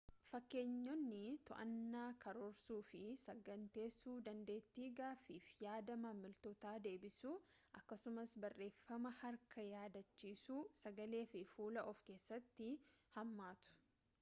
fakkeenyonni to'annaa karoorsuu fi saganteessuu dandeetti gaafiif yaada maamiltoota deebisuu akkasumas barreeffama harkaa yaadachuu sagalee fi fuula of keessatti hammatu